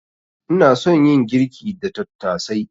Ina son yin girki da tattasai.